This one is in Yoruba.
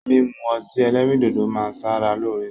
Mímu ọti ẹlẹ́rìndòdó ma ń ṣara loore.